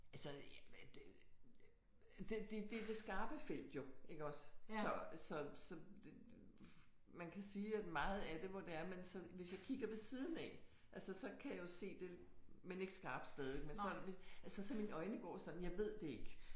Altså ja det det det er det skarpe felt jo iggås så så så det man kan sige at meget af det hvor det er man sådan hvis jeg kigger ved siden af altså så kan jeg jo se det men ikke skarpt stadig men så altså så mine øjne går sådan. Jeg ved det ikke